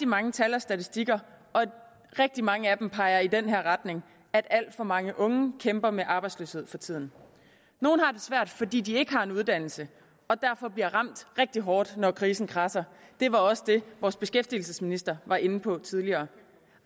mange tal og statistikker og rigtig mange af dem peger i den her retning at alt for mange unge kæmper med arbejdsløshed for tiden nogle har det svært fordi de ikke har en uddannelse og derfor bliver ramt rigtig hårdt når krisen kradser det var også det vores beskæftigelsesminister var inde på tidligere